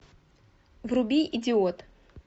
вруби идиот